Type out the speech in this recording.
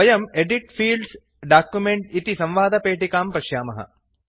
वयं एदित् Fields document इति संवादपेटिकां पश्यामः